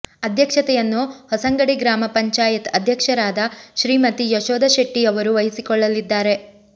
ಅಧ್ಯಕ್ಷತೆಯನ್ನು ಹೊಸಂಗಡಿ ಗ್ರಾಮ ಪಂಚಾಯತ್ ಅದ್ಯಕ್ಷರಾದ ಶ್ರೀಮತಿ ಯಶೋಧ ಶೆಟ್ಟಿಯವರು ವಹಿಸಿಕೊಳ್ಳಲ್ಲಿದ್ದಾರೆ